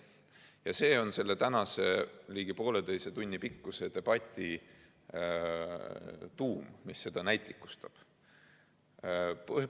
Ja see on tänase ligi poolteise tunni pikkuse debati tuum, mis seda näitlikustab.